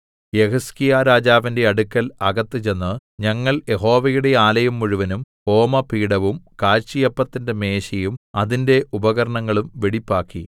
യെഹിസ്കീയാ രാജാവിന്റെ അടുക്കൽ അകത്ത് ചെന്ന് ഞങ്ങൾ യഹോവയുടെ ആലയം മുഴുവനും ഹോമപീഠവും കാഴ്ചയപ്പത്തിന്റെ മേശയും അതിന്റെ ഉപകരണങ്ങളും വെടിപ്പാക്കി